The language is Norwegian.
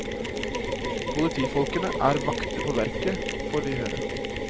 Politifolkene er vakter på verket, får vi høre.